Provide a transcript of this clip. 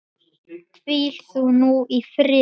Hvíl þú nú í friði.